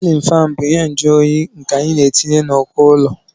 silin fán bụ ihe mjuonyi nke anyị na-etinye n'uko ụlọ